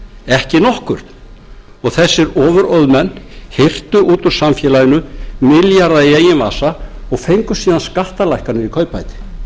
ekki nokkurn þessir ofurauðmenn hirtu út úr samfélaginu milljarða í eigin vasa og fengu síðan skattalækkanir í kaupbæti